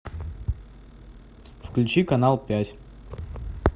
включи канал пять